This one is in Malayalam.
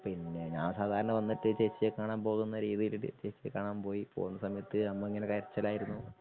പിന്നെ ഞാൻ സാദാരണ വന്നിട്ട് ചേച്ചിയെ കാണാൻ പോകുന്ന രീതിയില് ജെസ്റ് കാണാൻ പോയ് പൊന്നസമയത്തു അമ്മ ഇങ്ങനെ കരച്ചിലായിരുന്നു.